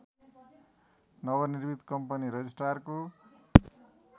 नवनिर्मित कम्पनी रजिष्ट्रारको